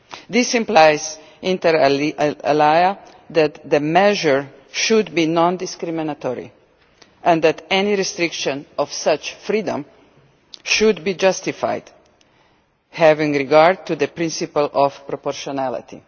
This implies, inter alia, that the measures should be non discriminatory, and that any restriction of such freedom should be justified having regard to the principle of proportionality.